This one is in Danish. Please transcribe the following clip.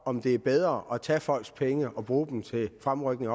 om det er bedre at tage folks penge og bruge dem til fremrykning